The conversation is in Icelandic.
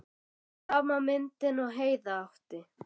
Sama myndin og Heiða átti.